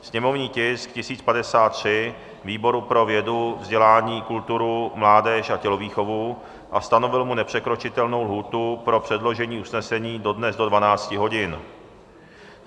sněmovní tisk 1053 výboru pro vědu, vzdělání, kulturu a mládež a tělovýchovu a stanovil mu nepřekročitelnou lhůtu pro předložení usnesení dodnes do 12 hodin;